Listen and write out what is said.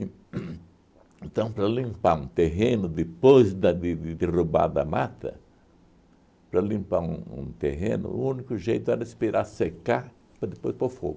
En uhn então, para limpar um terreno depois da de de derrubada a mata, para limpar um um terreno, o único jeito era esperar secar para depois pôr fogo.